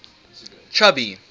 chubby